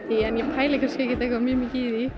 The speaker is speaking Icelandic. pælir kannski ekkert eitthvað mjög mikið í